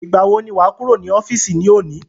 Ìgbà wo ni wà á kúrò ní ọ́fìsì ní òní?